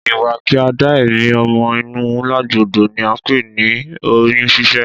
Ìwà kí a dá èmí ọmọ inú légbodò ni a ńpè ní oyún ṣíṣẹ́